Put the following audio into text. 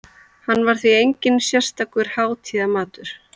Hann var því enginn sérstakur hátíðamatur.